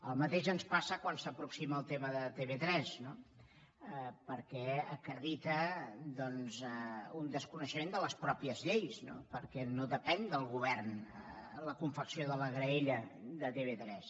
el mateix ens passa quan s’aproxima al tema de tv3 no perquè acredita un desconeixement de les mateixes lleis no perquè no depèn del govern la confecció de la graella de tv3